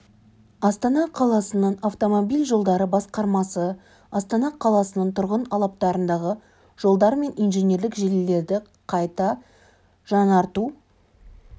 астана қаласының автомобиль жолдары басқармасы астана қаласының тұрғын алаптарындағы жолдар мен инженерлік желілерді салу қайта жаңарту